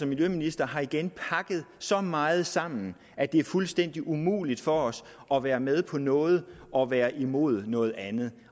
miljøministeren har igen pakket så meget sammen at det er fuldstændig umuligt for os at være med på noget og være imod noget andet